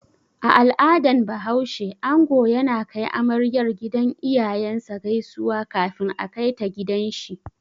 A al'adan bahaushe, ango yana kai amaryar gidan iyayen sa gaisuwa kafin a kaita gidan shi